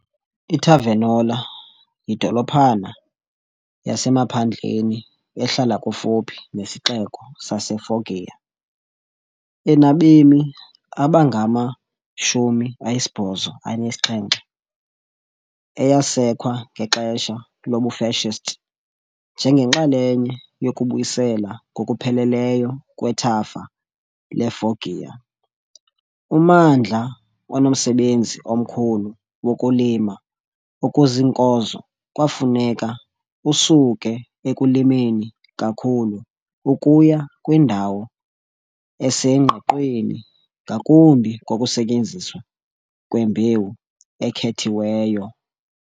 I-Tavernola yidolophana yasemaphandleni ehlala kufuphi nesixeko saseFoggia, enabemi abangama-87, eyasekwa ngexesha lobuFascist njengenxalenye yokubuyiselwa ngokupheleleyo kwethafa leFoggia. Ummandla onomsebenzi omkhulu wokulima okuziinkozo kwafuneka usuke ekulimeni kakhulu ukuya kwindawo esengqiqweni ngakumbi ngokusetyenziswa kwembewu ekhethiweyo.